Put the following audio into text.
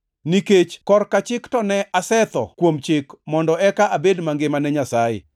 “Nikech korka chik to ne asetho kuom chik mondo eka abed mangima ne Nyasaye.